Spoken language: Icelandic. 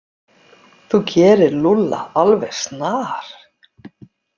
Þú gerir Lúlla alveg snar,